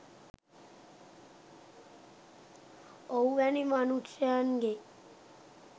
ඔහු වැනි මනුෂ්‍යයන්ගේ